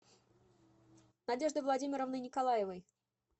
надеждой владимировной николаевой